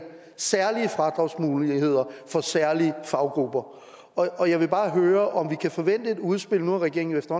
særlige fradragsmuligheder for særlige faggrupper og jeg vil bare høre om vi kan forvente et udspil nu har regeringen jo